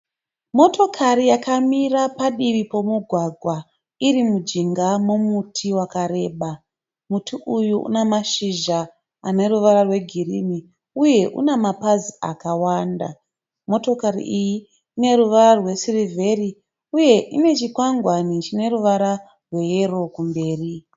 Motokari yakamira padivi pemugwagwa iri mujinga memuti wakareba. Muti uyu unemazhizha ane ruvara rwegirini uye unemapazi akawanda. Motokari iyi ineruva rwesirivhiri uye ine chikwangwani chineruvara rwayero kumberi.